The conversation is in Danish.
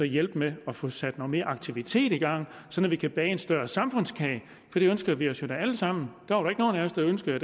hjælpe med at få sat noget mere aktivitet i gang så vi kan bage en større samfundskage for det ønsker vi os jo alle sammen der var ikke nogen af os der ønskede